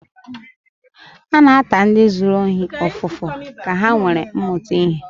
A na-ata ndi zuru ohi ofufu ka ha nwere muta ihe